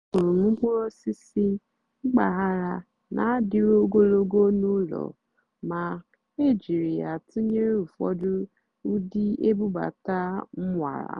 àhụ́rụ́ m mkpụ́rụ́ ósìsì mpàgàrà nà-àdì́rù ógólògó n'ụ́lọ̀ mà é jìrí yá tụ́nyeré ụ́fọ̀dụ́ ụ́dị́ ébúbátá m nwàrà.